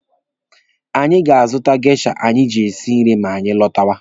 Anyị ga-azụta geisha anyị ji esi nri ma anyị lọtawa.